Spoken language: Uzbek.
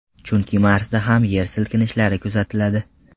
Chunki Marsda ham yer silkinishlari kuzatiladi.